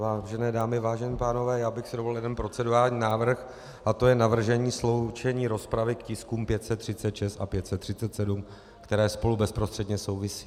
Vážené dámy, vážení pánové, já bych si dovolil jeden procedurální návrh a to je navržení sloučení rozpravy k tiskům 536 a 537, které spolu bezprostředně souvisí.